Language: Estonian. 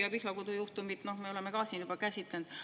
Ja Pihlakodu juhtumit me oleme ka siin juba käsitlenud.